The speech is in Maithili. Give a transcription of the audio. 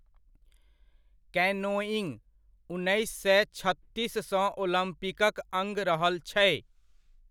कैनोइिङ्ग, उन्नैस सए छत्तीससँ ओलम्पिकक अङ्ग रहल छै।